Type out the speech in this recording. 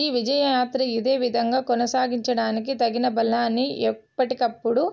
ఈ విజయయాత్ర ఇదే విధంగా కొనసాగించడానికి తగిన బలాన్ని ఎప్పటికప్పుడు